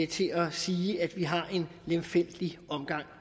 til at sige at vi har en lemfældig omgang